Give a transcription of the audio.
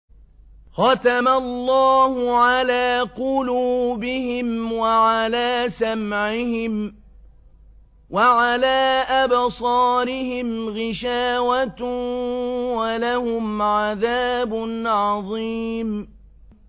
خَتَمَ اللَّهُ عَلَىٰ قُلُوبِهِمْ وَعَلَىٰ سَمْعِهِمْ ۖ وَعَلَىٰ أَبْصَارِهِمْ غِشَاوَةٌ ۖ وَلَهُمْ عَذَابٌ عَظِيمٌ